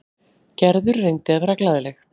Gerður reyndi að vera glaðleg.